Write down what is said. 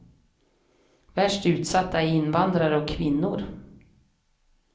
Värst utsatta är invandrare och kvinnor.